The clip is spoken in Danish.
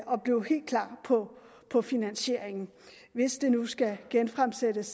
blive helt klar på på finansieringen hvis det nu skal genfremsættes